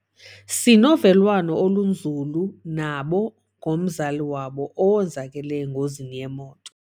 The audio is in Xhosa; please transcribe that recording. Sinovelwano olunzulu nabo ngomzali wabo owenzakele engozini yemoto.